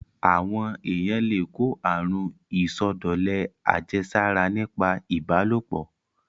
Àwọn èyàn le kó àrun ìsọdọ̀lẹ àjẹsára nípa ìbálòpọ̀.